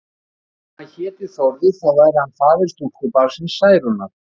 Og sem hann héti Þórður, þá væri hann faðir stúlkubarnsins Særúnar.